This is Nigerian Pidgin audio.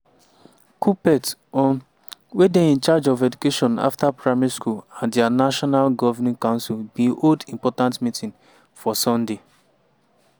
kuppet um wey dey in charge of education afta primary school and dia national governing council bin hold important meeting for sunday.